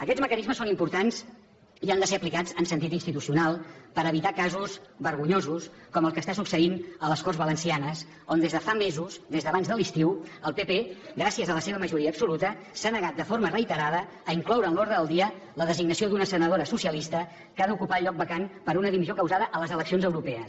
aquests mecanismes són importants i han de ser aplicats en sentit institucional per evitar casos vergonyosos com el que està succeint a les corts valencianes on des de fa mesos des d’abans de l’estiu el pp gràcies a la seva majoria absoluta s’ha negat de forma reiterada a incloure en l’ordre del dia la designació d’una senadora socialista que ha d’ocupar el lloc vacant per una dimissió causada a les eleccions europees